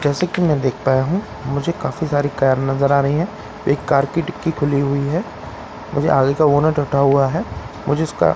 जैसा कि मैं देख पाया हूं मुझे काफ़ी सारी कार नज़र आ रही है एक कार की डिक्की खुली हुई है मुझे आगे का बोनट हटा हुआ है मुझे उसका --